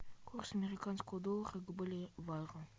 курс американского доллара к боливару